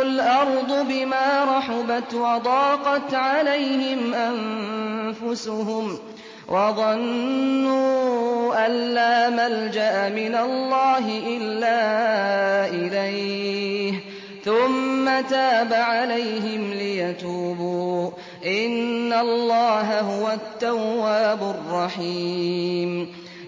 الْأَرْضُ بِمَا رَحُبَتْ وَضَاقَتْ عَلَيْهِمْ أَنفُسُهُمْ وَظَنُّوا أَن لَّا مَلْجَأَ مِنَ اللَّهِ إِلَّا إِلَيْهِ ثُمَّ تَابَ عَلَيْهِمْ لِيَتُوبُوا ۚ إِنَّ اللَّهَ هُوَ التَّوَّابُ الرَّحِيمُ